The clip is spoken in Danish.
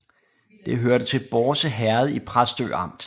Det hørte til Bårse Herred i Præstø Amt